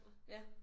Ja